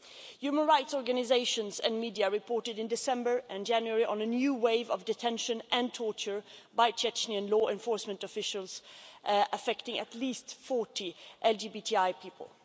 Human rights organisations and media reported in December and January on a new wave of detention and torture by Chechen law enforcement officials affecting at least 40 LGBTI people.